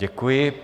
Děkuji.